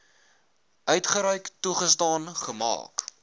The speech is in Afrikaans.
uitgereik toegestaan gemaak